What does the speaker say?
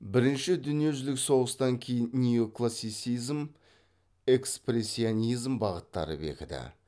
бірінші дүниежүзілік соғыстан кейін неоклассицизм экспрессионизм бағыттары бекіді